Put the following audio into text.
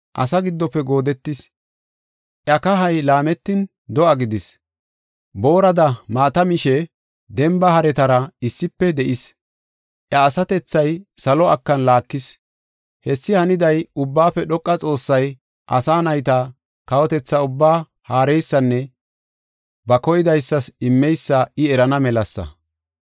Asa giddofe goodetis; iya kahay laametin do7a gidis. Boorada maata mishe demba haretara issife de7is. Iya asatethay salo akan laakis. Hessi haniday, Ubbaafe Dhoqa Xoossay asa nayta kawotetha ubbaa haareysanne ba koydaysas immeysa I erana melasa.